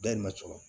Dayirimɛ sɔrɔ